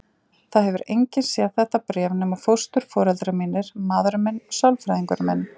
Það hefur enginn séð þetta bréf nema fósturforeldrar mínir, maðurinn minn og sálfræðingurinn minn.